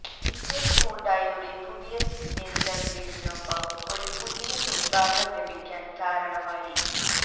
ഇത് ഹ്യുണ്ടായിയുടെ പുതിയ സിഗ്നേച്ചർ ഗ്രില്ലിനൊപ്പം ഒരു പുതിയ മുൻഭാഗം ലഭിക്കാൻ കാരണമായി